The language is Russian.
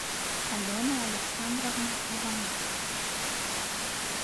алена александровна ивановна